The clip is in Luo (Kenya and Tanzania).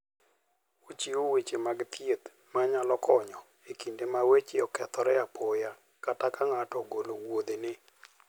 Ochiwo weche mag thieth manyalo konyo e kinde ma weche okethore apoya, kata ka ng'ato ogolo wuodhene.